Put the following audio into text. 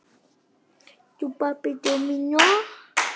Hann átti engra kosta völ.